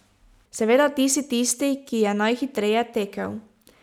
Seveda, ti si tisti, ki je najhitreje tekel.